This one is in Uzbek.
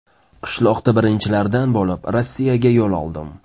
Qishloqda birinchilardan bo‘lib Rossiyaga yo‘l oldim.